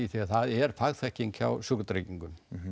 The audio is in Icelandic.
því það er fagþekking hjá Sjúkratryggingum